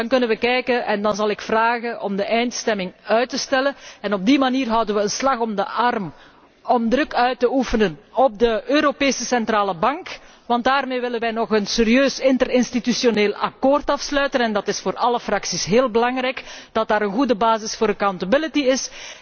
Op dat moment zal ik vragen om de eindstemming uit te stellen. Op die manier houden wij een slag om de arm om druk uit te oefenen op de Europese Centrale Bank, want daarmee willen wij nog een serieus interinstitutioneel akkoord afsluiten. Het is voor alle fracties heel belangrijk, dat er een goede basis voor aansprakelijkheid is.